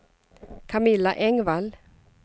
Camilla Engvall